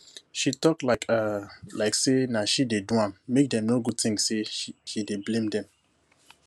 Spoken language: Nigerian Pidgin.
she talk um like say nah she do am make dem no go think say she dey blame dem